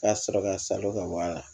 Ka sɔrɔ ka salon ka bɔ a la